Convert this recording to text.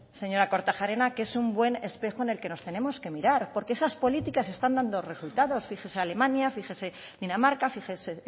señora kortajarena que es un buen espejo en el que nos tenemos que mirar porque esas políticas están dando resultados fíjese alemania fíjese dinamarca fíjese